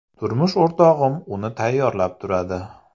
Turmush o‘rtog‘im uni tayyorlab turadi.